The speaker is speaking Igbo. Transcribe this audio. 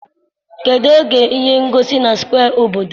kedụ oge ihe ngosi na square obodo?